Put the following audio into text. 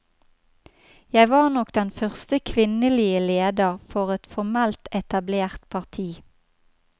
Jeg var nok den første kvinnelige leder for et formelt etablert parti.